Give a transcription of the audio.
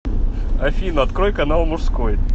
афина открой канал мужской